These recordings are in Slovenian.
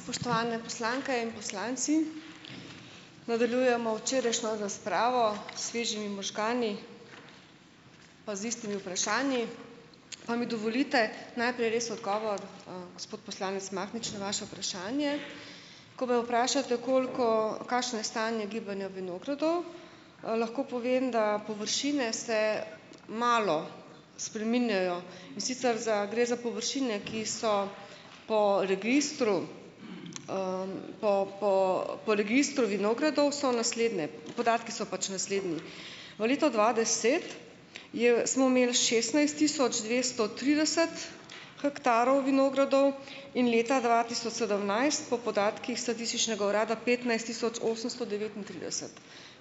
Spoštovane poslanke in poslanci! Nadaljujemo včerajšnjo razpravo s svežimi možgani pa z istimi vprašanji. Pa mi dovolite najprej res odgovor, gospod poslanec Mahnič, na vaše vprašanje. Ko me vprašate, koliko, kakšno je stanje gibanja vinogradov, lahko povem, da površine se malo spreminjajo, in sicer za gre za površine, ki so po registru po, po, po registru vinogradov so naslednje, podatki so pač naslednji. V letu dva deset je smo imeli šestnajst tisoč dvesto trideset hektarov vinogradov in leta dva tisoč sedemnajst po podatkih statističnega urada petnajst tisoč osemsto devetintrideset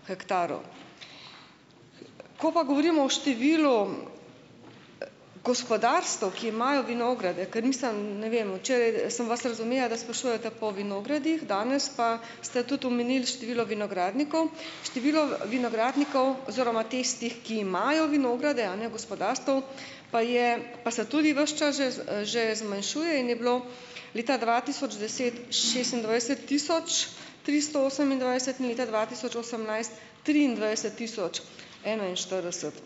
hektarov. Ko pa govorimo o številu gospodarstev, ki imajo vinograde, ker mislim, ne vem, včeraj sem vas razumela, da sprašujete po vinogradih, danes pa ste tudi omenili število vinogradnikov, število vinogradnikov oziroma tistih, ki imajo vinograde, a ne, gospodarstev, pa je pa se tudi ves čas že, že zmanjšuje in je bilo leta dva tisoč deset šestindvajset tisoč tristo osemindvajset leta dva tisoč osemnajst triindvajset tisoč enainštirideset.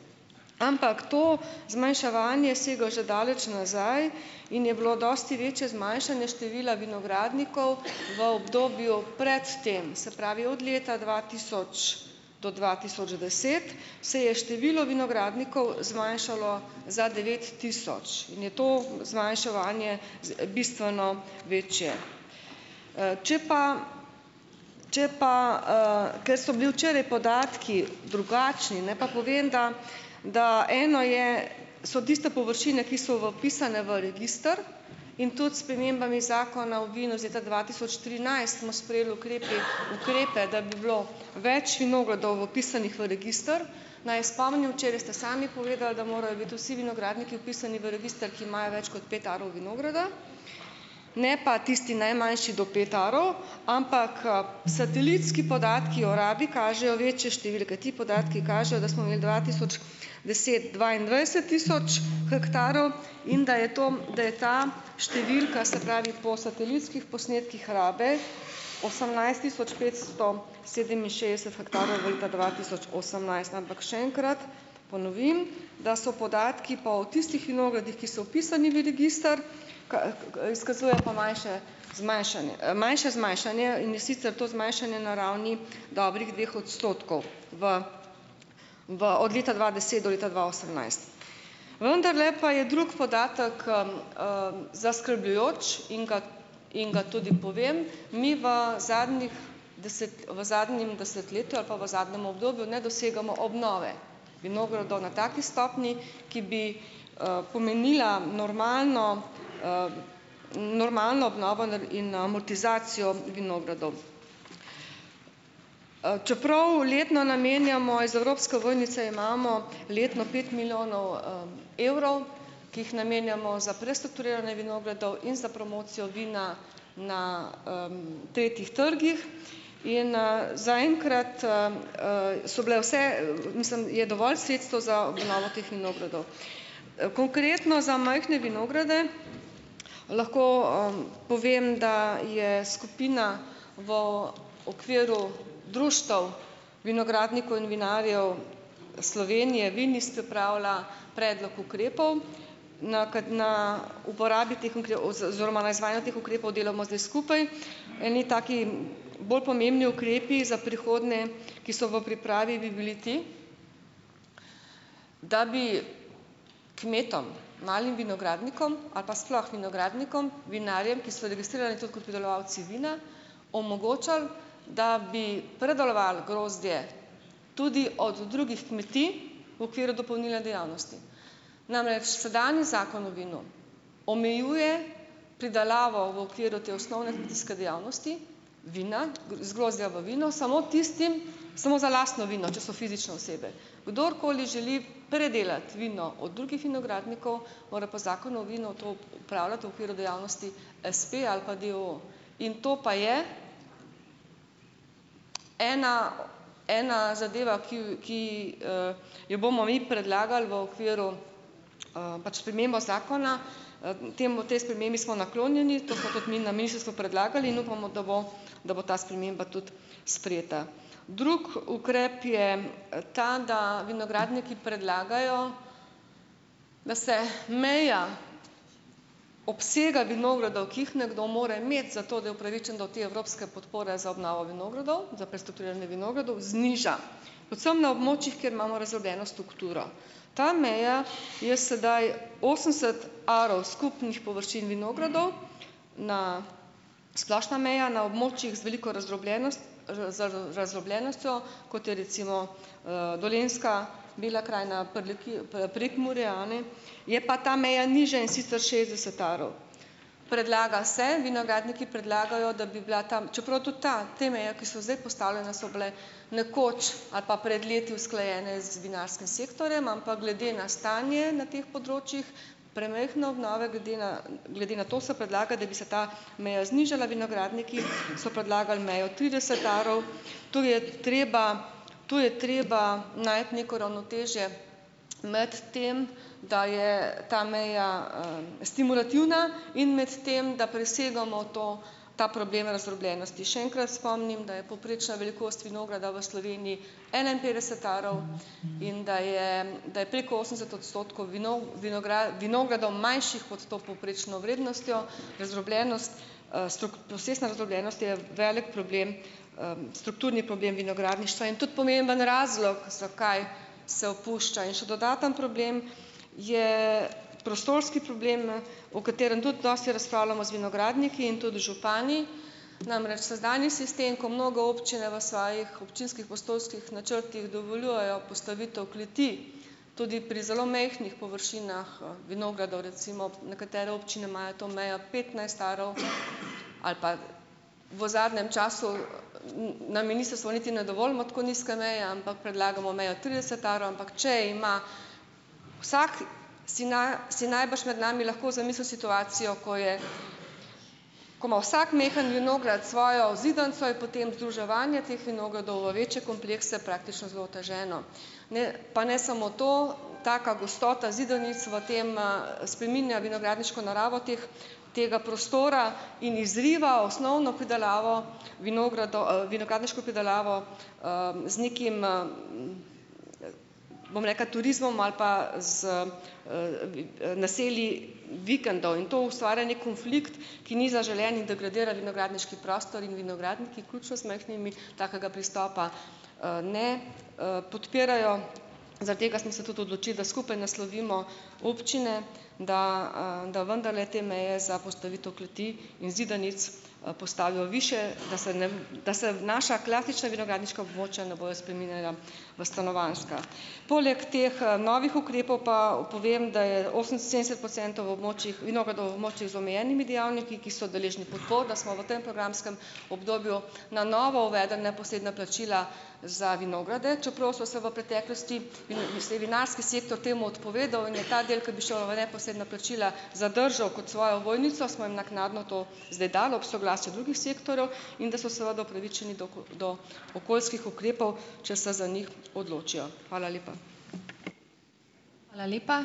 Ampak to zmanjševanje sega že daleč nazaj in je bilo dosti večje zmanjšanje števila vinogradnikov v obdobju pred tem, se pravi od leta dva tisoč do dva tisoč deset se je število vinogradnikov zmanjšalo za devet tisoč in je to zmanjševanje bistveno večje. Če pa, če pa, ker so bili včeraj podatki drugačni, naj pa povem, da da eno je, so tiste površine, ki so vpisane v register, in tudi s spremembami zakona o vinu iz leta dva tisoč trinajst smo sprejeli ukrepi ukrepe, da bi bilo več vinogradov vpisanih v register, naj spomnim, včeraj ste sami povedali, da morajo biti vsi vinogradniki vpisani v register, ki imajo več kot pet arov vinograda, ne pa tisti najmanjši do pet arov. Ampak, satelitski podatki o rabi kažejo večje številke. Ti podatki kažejo, da smo imeli dva tisoč deset dvaindvajset tisoč hektarov in da je to, da je ta številka, se pravi po satelitskih posnetkih rabe, osemnajst tisoč petsto sedeminšestdeset hektarov leta dva tisoč osemnajst. Ampak še enkrat ponovim, da so podatki pa o tistih vinogradih, ki so vpisani v register, izkazujejo pa manjše zmanjšanje, manjše zmanjšanje, in sicer to zmanjšanje na ravni dobrih dveh odstotkov. V, v, od leta dva deset do leta dva osemnajst. Vendarle pa je drug podatek, zaskrbljujoč in ga in ga tudi povem, mi v zadnjih deset, v zadnjem desetletju ali pa v zadnjem obdobju ne dosegamo obnove vinogradov na taki stopnji, ki bi, pomenila normalno, normalno obnovo in amortizacijo vinogradov. Čeprav letno namenjamo iz evropske ovojnice, imamo letno pet milijonov, evrov, ki jih namenjamo za prestrukturiranje vinogradov in za promocijo vina na, tretjih trgih. In, zaenkrat, so bile vse, mislim, je dovolj sredstev za obnovo teh vinogradov. Konkretno za majhne vinograde lahko, povem, da je skupina v okviru Društev vinogradnikov in vinarjev Slovenije Vinis pripravila predlog ukrepov. Na na uporabi teh oziroma na izvajanju teh ukrepov delamo zdaj skupaj. Eni taki, bolj pomembni ukrepi za prihodnje, ki so v pripravi, bi bili ti, da bi kmetom, malim vinogradnikom ali pa sploh vinogradnikom, vinarjem, ki so registrirani tudi kot pridelovalci vina, omogočali, da bi predelovali grozdje tudi od drugih kmetij v okviru dopolnilne dejavnosti, namreč sedanji zakon o vinu omejuje pridelavo v okviru te osnovne kmetijske dejavnosti vina, iz grozdja v vino samo tistim, samo za lastno vino, če so fizične osebe. Kdorkoli želi predelati vino od drugih vinogradnikov, mora po zakonu o vinu to opravljati v okviru dejavnosti espeja ali pa d. o. o. In to pa je ena, ena zadeva, ki ki, jo bomo mi predlagali v okviru, pač spremembo zakona. Temu, tej spremembi smo naklonjeni. To smo tudi mi na ministrstvu predlagali in upamo, da bo da bo ta sprememba tudi sprejeta. Drugi ukrep je, ta, da vinogradniki predlagajo, da se meja obsega vinogradov ki jih nekdo mora imeti, zato da je upravičen do te evropske podpore za obnovo vinogradov, za prestrukturiranje vinogradov, zniža, predvsem na območjih, kjer imamo razdrobljeno strukturo. Ta meja je sedaj osemdeset arov skupnih površin vinogradov, na splošna meja na območjih z veliko razdrobljenostjo, kot je recimo, Dolenjska, Bela krajina, Prekmurje, a ne, je pa ta meja nižja, in sicer šestdeset arov. Predlaga se, vinogradniki predlagajo, da bi bila ta čeprav tudi ta, te meje, ki so zdaj postavljene, so bile nekoč ali pa pred leti usklajene z vinarskim sektorjem, ampak glede na stanje na teh področjih premajhne obnove glede na, glede na to se predlaga, da bi se ta meja znižala, vinogradniki so predlagali mejo trideset arov, tu je treba, tu je treba najti neko ravnotežje med tem, da je ta meja, stimulativna in med tem, da presegamo to, ta problem razdrobljenosti. Še enkrat spomnim, da je povprečna velikost vinograda v Sloveniji enainpetdeset arov in da je, da je preko osemdeset odstotkov vinogradov, manjših, pod to povprečno vrednostjo. Razdrobljenost, posestna razdrobljenost je velik problem, strukturni problem vinogradništva in tudi pomemben razlog, zakaj se opušča, in še dodaten problem je prostorski problem, o katerem tudi dosti razpravljamo z vinogradniki in tudi župani. Namreč, sedanji sistem, ko mnoge občine v svojih občinskih prostorskih načrtih dovoljujejo postavitev kleti tudi pri zelo majhnih površinah, vinogradov, recimo nekatere občine imajo to mejo petnajst arov, ali pa v zadnjem času na ministrstvu niti ne dovolimo tako nizke meje, ampak predlagamo mejo trideset arov, ampak če ima vsak si si najbrž med nami lahko zamisli situacijo, ko je, ko ima vsak malo vinograd svojo zidanico, je potem združevanje teh vinogradov v večje komplekse praktično zelo oteženo, ne, pa ne samo to, taka gostota zidanic v tem, spreminja vinogradniško naravo teh tega prostora in izriva osnovno pridelavo vinogradniško pridelavo, z nekim, bom rekla, turizmom ali pa z, naselij vikendov in to ustvarja neki konflikt, ki ni zaželen in degradira vinogradniški prostor in vinogradniki, vključno z majhnimi, takega pristopa, ne, podpirajo, zaradi tega smo se tudi odločili, da skupaj naslovimo občine, da, da vendarle te meje za postavitev kleti in zidanic, postavijo višje, da se ne, da se naša klasična vinogradniška območja ne bojo spreminjala v stanovanjska. Poleg teh, novih ukrepov pa povem, da je oseminsedemdeset procentov v območjih vinogradov območij z omejenimi dejavniki, ki so deležni podpor, da smo v tam programskem obdobju na novo uvedli neposredna plačila za vinograde. Čeprav so se v preteklosti in se je vinarski sektor temu odpovedal in je ta del, ki bi šel v neposredna plačila, zadržal kot svojo ovojnico, smo jim naknadno to zdaj dali ob soglasju drugih sektorjev in da so seveda upravičeni do do okoljskih ukrepov, če se za njih odločijo. Hvala lepa.